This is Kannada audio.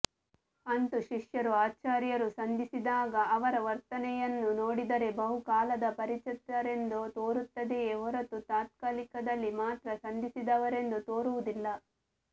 ಅಂತೂ ಶಿಷ್ಯರೂ ಆಚಾರ್ಯರೂ ಸಂಧಿಸಿದಾಗ ಅವರ ವರ್ತನೆಯನ್ನು ನೋಡಿದರೆ ಬಹುಕಾಲದ ಪರಿಚಿತರೆಂದು ತೋರುತ್ತದೆಯೆ ಹೊರತು ತತ್ಕಾಲದಲ್ಲಿ ಮಾತ್ರ ಸಂಧಿಸಿದವರೆಂದು ತೋರುವುದಿಲ್ಲ